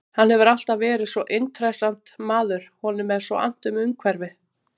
Hann hefur alltaf verið svo intressant maður, honum er svo annt um umhverfið.